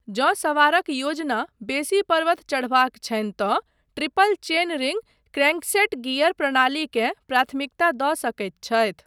जँ सवारक योजना बेसी पर्वत चढ़बाक छनि तँ triple chain ring crankset gear प्रणालीकेँ प्राथमिकता दऽ सकैत छथि।